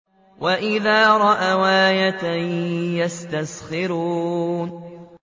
وَإِذَا رَأَوْا آيَةً يَسْتَسْخِرُونَ